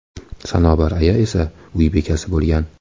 Sanobar aya esa uy bekasi bo‘lgan.